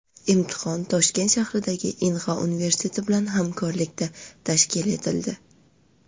Imtihon Toshkent shahridagi Inha universiteti bilan hamkorlikda tashkil etildi.